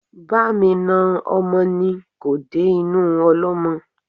Bá mi na ọmọ ni kò dé inú ọlọ́mọ